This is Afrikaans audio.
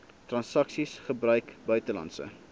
transaksies gebruik buitelandse